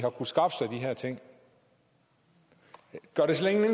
her ting gør det slet